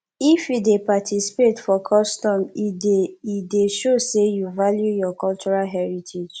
if you dey participate for custom e dey e dey show sey you value your cultural heritage